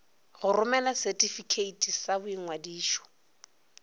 go romela setifikeiti sa boingwadišo